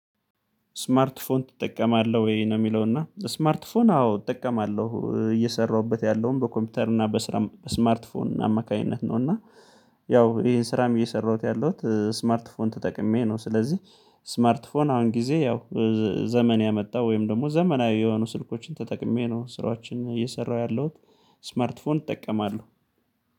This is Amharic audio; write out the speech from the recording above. ስማርት ፎን ትጠቀማለህ ወይ ነው? የሚለው እና ስማርት ፎን አዎ እጠቀማለሁ እየሰራሁበት ያለውም በኮምፒውተር እና በስራ ስማርት ፎን አማካኝነት ነው እና ያው ይሄን ስራም እየሰራሁት ያለሁት ስማርት ፎን ተጠቅሜ ነው። ስለዚህ ስማርት ፎን አሁን ጊዜ ያው ዘመን ያመጣው ወይም ደግሞ ዘመናዊ የሆኑ ስልኮችን ተጠቅሜ ነው ስራዎችን እየሰራሁ ያለሁት። ስማርት ፎን ይጠቀማሉ